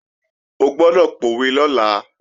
O gbọ́dọ̀ pòwe lọ́la!